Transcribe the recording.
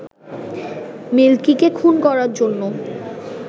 মিল্কিকে খুন করার জন্য